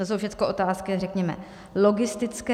To jsou všechno otázky, řekněme, logistické.